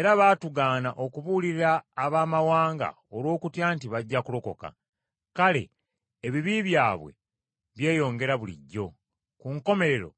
era baatugaana okubuulira Abaamawanga olw’okutya nti bajja kulokoka, kale ebibi byabwe byeyongera bulijjo; ku nkomerero,